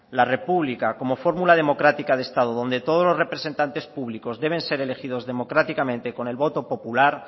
la república como fórmula democrática de estado donde todos los representantes públicos deben ser elegidos democráticamente con el voto popular